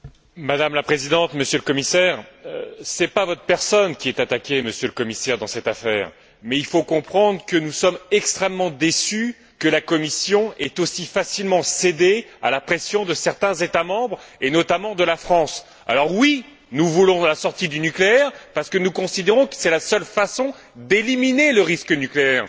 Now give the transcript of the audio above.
Madame la Présidente, Monsieur le Commissaire, ce n'est pas votre personne qui est attaquée dans cette affaire, Monsieur le Commissaire, mais il faut comprendre que nous sommes extrêmement déçus que la Commission ait aussi facilement cédé à la pression de certains États membres et notamment de la France. Alors oui, nous voulons la sortie du nucléaire parce que nous considérons que c'est la seule façon d'éliminer le risque nucléaire.